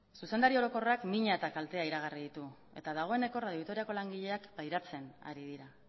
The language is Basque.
zuzendari orokorrak mina eta kaltea iragarri ditu eta dagoeneko radio vitoriako langileak pairatzen ari dira